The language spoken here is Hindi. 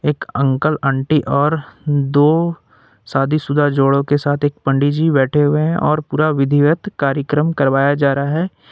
एक अंकल आंटी और दो शादीशुदा जोड़ों के साथ एक पंडित जी बैठे हुए हैं और पूरा विधिवत कार्यक्रम करवाया जा रहा है।